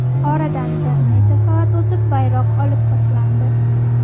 Oradan bir necha soat o‘tib bayroq olib tashlandi.